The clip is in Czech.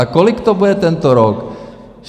A kolik to bude tento rok?